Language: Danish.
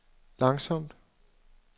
langsomt